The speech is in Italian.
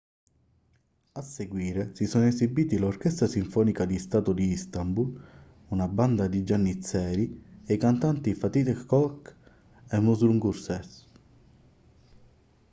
a seguire si sono esibiti l'orchestra sinfonica di stato di istanbul una banda di giannizzeri e i cantanti fatih erkoç e müslüm gürses